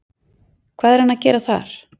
Hvað er hann að gera þar?